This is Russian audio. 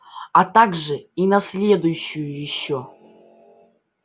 а также и на следующую ещё